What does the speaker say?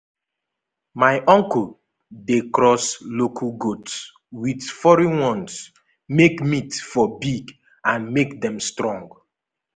my my uncle dey cross local goats with foreign ones make meat for big and make dem strong.